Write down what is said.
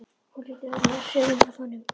Hún hlýtur að vera mjög hrifin af honum.